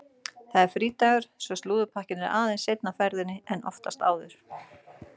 Það er frídagur svo slúðurpakkinn er aðeins seinna á ferðinni en oftast áður.